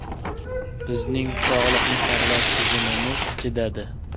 Bizning sog‘liqni saqlash tizimimiz chidadi.